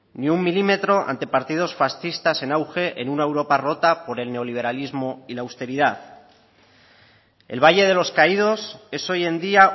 ni un milímetro ante partidos fascistas en auge en una europa rota por el neoliberalismo y la austeridad el valle de los caídos es hoy en día